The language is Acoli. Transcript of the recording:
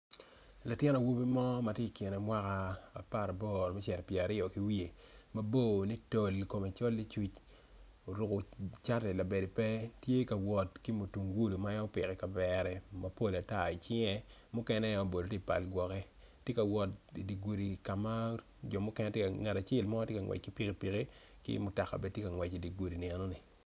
Latin awobi mo matye ikine mwaka aparaboro me cito pyeraaryo mabor ni tol kome col ni tul oruko cati labade pe tye ka wot ki mutungulu ma en opiko ikavera mapol icinge mukene labol tye ipal gwoki tye ka wot idigudi ngat acel mo tye ka ngwec ki pikipiki ki mutoka bene tye ka wot i digudi eno ni.